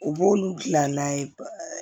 U b'olu dilan n'a ye